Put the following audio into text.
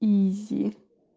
изи